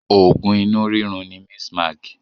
Oògùn inú rírun ni Mistmag